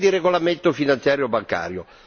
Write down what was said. Si parla di regolamento finanziario bancario.